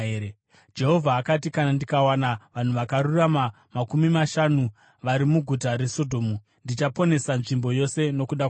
Jehovha akati, “Kana ndikawana vanhu vakarurama makumi mashanu vari muguta reSodhomu, ndichaponesa nzvimbo yose nokuda kwavo.”